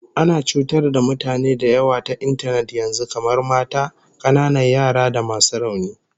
Ana cutar da mutane da yawa ta intanet yanzu, kamar mata, kananan yara da masu rauni